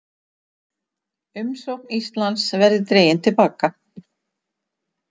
Umsókn Íslands verði dregin til baka